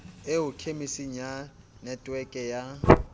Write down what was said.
eo khemiseng ya netweke ya